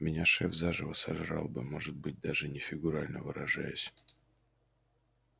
меня шеф заживо сожрал бы может быть даже не фигурально выражаясь